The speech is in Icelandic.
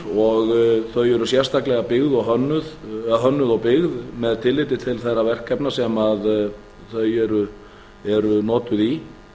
og þau eru sérstaklega hönnuð og byggð með tilliti til þeirra verkefna sem þau eru notuð í